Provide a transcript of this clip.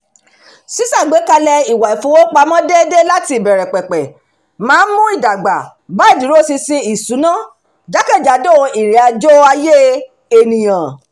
ṣíṣàgbékalẹ̀ ìwà ìfowópamọ́ déédé láti ìbẹ̀rẹ̀ pẹ̀pẹ̀ máa ń mú ìdàgbà bá ìdúróṣiṣi ìṣúná jákèjádò ìrìnàjò ayé ènìyàn